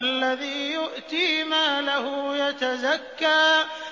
الَّذِي يُؤْتِي مَالَهُ يَتَزَكَّىٰ